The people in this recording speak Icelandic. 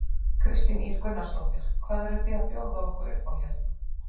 Kristín Ýr Gunnarsdóttir: Hvað eruð þið að bjóða okkur upp á hérna?